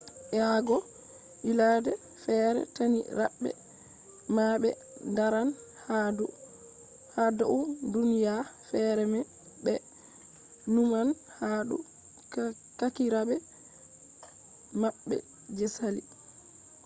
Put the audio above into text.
eago ylade fere tani rabe ma be daran ha dou duniya fere be numan ha dou kakirabe mabbe je sali